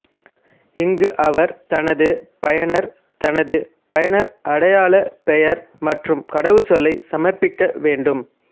இங்கு அவர் தனது பயனர் தனது பயனர் அடையாள பெயர் மற்றும் கடவுச்சொல்லை சமர்ப்பிக்க வேண்டும்